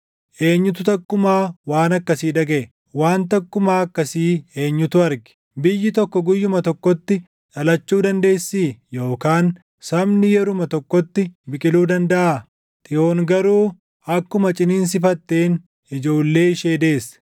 Eenyutu takkumaa waan akkasii dhagaʼe? Waan takkumaa akkasii eenyutu arge? Biyyi tokko guyyuma tokkotti dhalachuu dandeessii? Yookaan sabni yeruma tokkotti biqiluu dandaʼaa? Xiyoon garuu akkuma ciniinsifatteen, ijoollee ishee deesse.